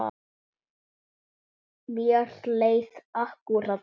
Mér leið akkúrat þannig.